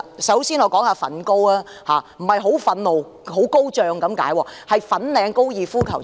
首先，我談談"粉高"，這不是很憤怒、很高漲的意思，是指粉嶺高爾夫球場。